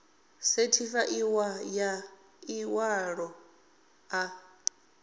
sethifaiwaho ya ḽi ṅwalo ḽa